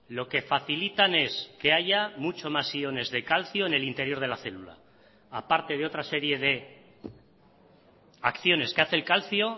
lo que facilitan es que haya mucho más iones de calcio en el interior de la célula aparte de otra serie de acciones que hace el calcio